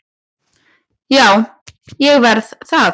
Já, ég verð það